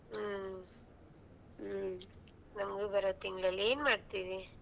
ಹ್ಮ್ ನಮಗೂ ಬಾರೋ ತಿಂಗ್ಳ್ ಅಲ್ಲಿ ಏನ್ ಮಾಡ್ತಿದ್ದಿ.